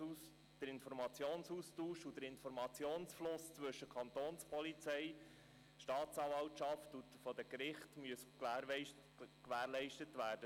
Der Informationsaustausch und der Informationsfluss zwischen Kapo Bern, Staatsanwaltschaft und Gerichten muss gewährleistet werden;